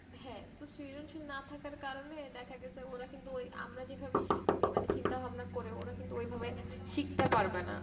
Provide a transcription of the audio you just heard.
হ্যাঁ তো season sheet না থাকার কারনে দেখা গেছে অনেক বই আমরা যেভাবে শিখছি মানে চিন্তা ভাবনা করে ওরা কিন্তু ওইভাবে শিখতে পারবে না